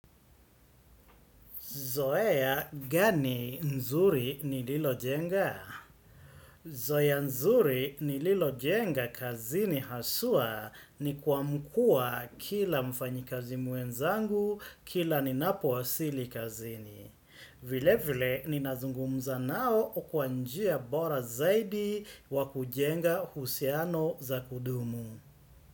Zoeya gani nzuri nililo jenga? Zoeya nzuri nililo jenga kazini hasua ni kwamkua kila mfanyikazi muenzangu kila ni napo wasili kazini. Vile vile ninazungumza nao okuanjia bora zaidi wakujenga uhusiano za kudumu.